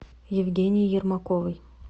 евгенией ермаковой